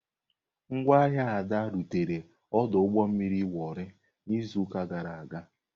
Ngwa ahịa Ada rutere ọdụ ụgbọ mmiri Warri n'izuụka gara aga.